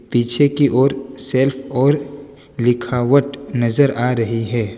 पीछे की ओर शेल्फ और लिखावट नजर आ रही है।